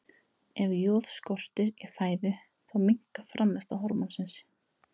Ef joð skortir í fæðu þá minnkar framleiðsla hormónsins.